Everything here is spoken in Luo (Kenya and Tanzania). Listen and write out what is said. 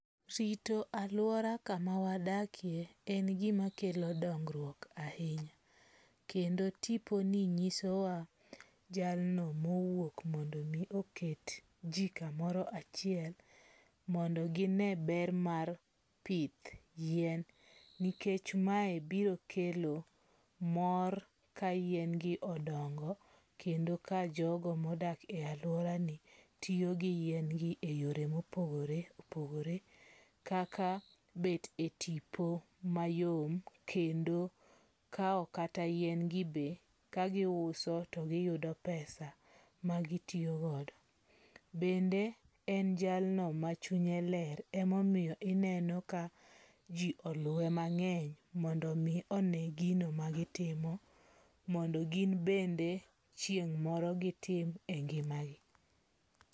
Rito alwora kamawadakie en gimakelo dongruok ahinya. Kendo tiponi nyisowa jalno mowuok mondo mi oket ji kamoro achiel mondo gine ber mar pith yien nikech mae biro kelo mor ka yien gi odongo kendo ka jogo modak e alworani tiyo gi yien gi e yore mopogore opogore. Kaka bet e tipo mayom kendo kawo kata yien gi be kagiuso to giyudo pesa ma gitiyogodo. Bende en jalno ma chunye ler, emomiyo ineno ka ji oluwe mang'eny mondo mi one gino ma gitimo. Mondo gin bende chieng' moro gitim e ngima gi.